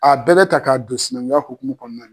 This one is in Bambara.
A bɛɛ bɛ ta k'a don sinankunya hokumu kɔnɔna na.